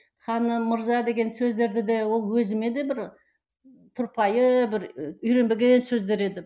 ханым мырза деген сөздерді де ол өзіме де бір тұрпайы бір і үйренбеген сөздер еді